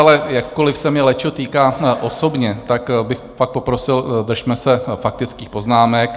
Ale jakkoliv se mě lečo týká osobně, tak bych fakt poprosil, držme se faktických poznámek.